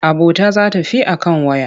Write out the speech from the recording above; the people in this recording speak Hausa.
Abota za ta fi a kan waya.